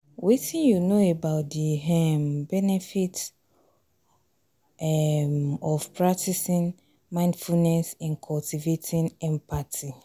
wetin you know about di um benefits di um benefits um of practicing mindfulness in cultivating empathy?